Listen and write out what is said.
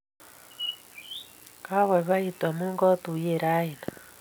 Kapoipoitu amun katuyenen raini